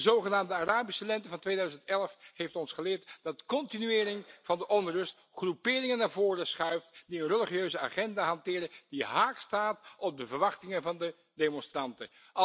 De zogenaamde Arabische Lente van 2011 heeft ons geleerd dat continuering van de onrust groeperingen naar voren schuift die een religieuze agenda hanteren die haaks staat op de verwachtingen van de demonstranten.